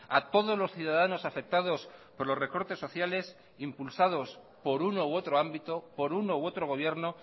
a todos los ciudadanos afectados por los recortes sociales impulsados por uno u otro ámbito por uno u otro gobierno